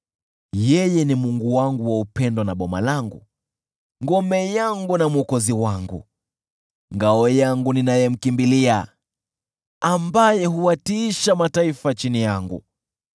Yeye ni Mungu wangu wa upendo na boma langu, ngome yangu na mwokozi wangu, ngao yangu ninayemkimbilia, ambaye huwatiisha mataifa chini yangu.